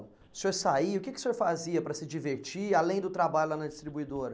O senhor saía, o que o senhor fazia para se divertir, além do trabalho lá na distribuidora?